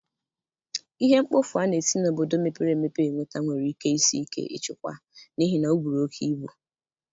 Ihe mkpofu a na-esi n'obodo mepere emepe enweta nwere ike isi ike ịchịkwa n'ihi na oburu oke ibu.